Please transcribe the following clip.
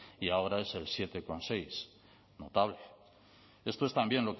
y ahora es el siete coma seis notable esto es también